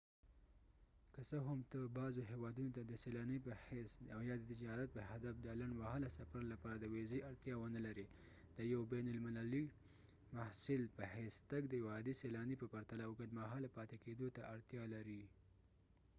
که څه هم ته بعضو هیوادونو ته د سیلاني په حیث او یا د تجارت په هدف د لنډ مهاله سفر لپاره د ویزې اړتیا ونلرې د یو بین المللي محصل په حیث تګ د یو عادي سیلاني په پرتله اوږد مهاله پاتې کیدو ته اړتیا لري